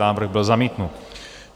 Návrh byl zamítnut.